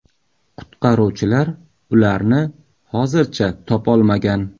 Qutqaruvchilar ularni hozircha topolmagan.